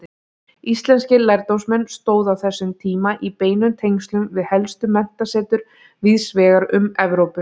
Íslenskir lærdómsmenn stóðu á þessum tíma í beinum tengslum við helstu menntasetur víðsvegar um Evrópu.